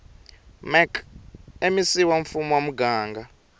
mec wa mfumo wa muganga